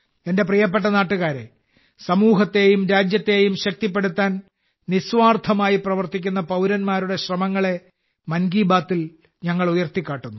എന്റെ പ്രിയപ്പെട്ട നാട്ടുകാരേ സമൂഹത്തെയും രാജ്യത്തെയും ശക്തിപ്പെടുത്താൻ നിസ്വാർത്ഥമായി പ്രവർത്തിക്കുന്ന പൌരന്മാരുടെ ശ്രമങ്ങളെ മൻ കി ബാത്തിൽ ഞങ്ങൾ ഉയർത്തിക്കാട്ടുന്നു